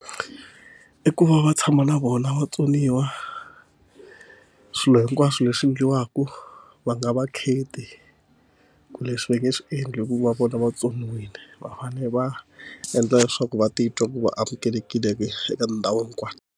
I ku va va tshama na vona vatsoniwa swilo hinkwaswo leswi endliwaka va nga va kheti ku leswi va nge swi endli hikuva vona vatsoniwile va fane va endla leswaku va titwa va amukelekile eka tindhawu hinkwato.